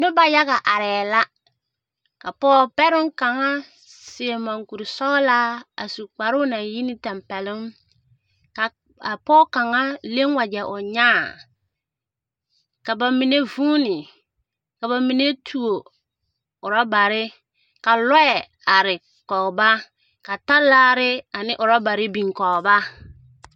Noba yaga arԑԑ la. Ka pͻge bԑroŋ kaŋa seԑ moŋkurisͻgelaa a su kparoŋ naŋ yi ne tampԑloŋ. Ka ka a pͻge kaŋa a leŋ wagyԑ o nyaa. Ka ba mine vuuni ka ba mine tuo orͻbare, ka lͻԑ are kͻge ba, ka talaare ane orͻbare biŋ kͻge ba.